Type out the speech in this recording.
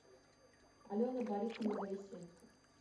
алена борисовна борисенко